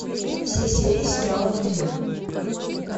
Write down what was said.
все серии сериала друзья